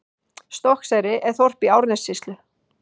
Stokkseyri er þorp í Árnessýslu.